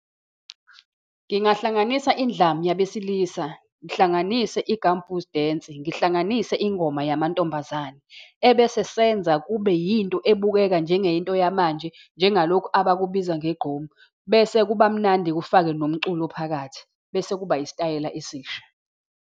Ngingahlanganisa indlamu yabesilisa, ngihlanganise i-gumboot dance, ngihlanganise ingoma yamantombazane, ebese senza kube yinto ebukeka njengento yamanje, njengalokhu abakubiza ngegqom. Bese kuba mnandi kufake nomculo phakathi, bese kuba isitayela esisha.